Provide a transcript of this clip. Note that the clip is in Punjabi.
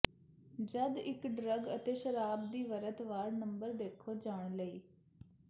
ਜਦ ਇੱਕ ਡਰੱਗ ਅਤੇ ਸ਼ਰਾਬ ਦੀ ਵਰਤ ਵਾਰ ਨੰਬਰ ਦੇਖੇ ਜਾਣ ਲਈ